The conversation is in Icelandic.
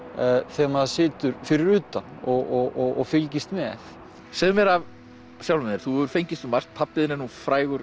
þegar maður situr fyrir utan og fylgist með segðu mér af sjálfum þér þú hefur fengist við margt pabbi þinn er nú frægur